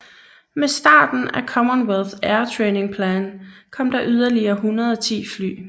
Med starten af Commonwealth Air Training Plan kom der yderligere 110 fly